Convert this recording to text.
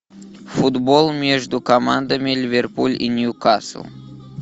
футбол между командами ливерпуль и ньюкасл